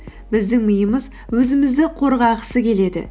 біздің миымыз өзімізді қорғағысы келеді